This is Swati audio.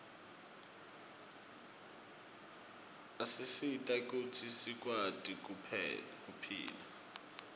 asisita kutsi sikwati kuphila